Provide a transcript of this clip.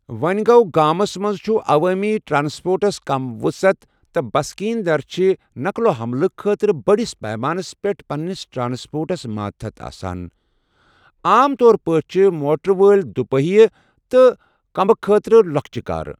وۄ٘نٛہِ گوٚو، گَامس منٛز چُِھ عوٲمی ٹرٛانٛسپورٹس کم وُصعت ، تہٕ بسکیٖن در چھِ تقلو حملہٕ خٲطرٕ بٔڑِس پیمانس پیٚٹھ پنٛنِس ٹرٛانٛسپورٹس ماتحت آسان، عام طور پٲٹھۍ چھِ موٹر وٲلۍ دُ پییہِ تہٕ كُمبہٕ خٲطرٕ لۄکچہٕ كارٕ ۔